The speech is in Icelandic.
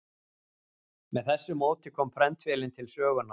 Með þessu móti kom prentvélin til sögunnar.